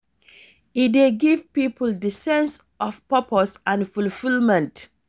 E dey give people di sense of purpose and fulfilment.